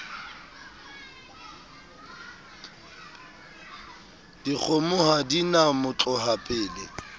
dikgomo ha di na motlohapele